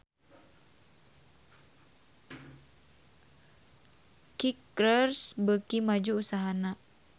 Kickers beuki maju usahana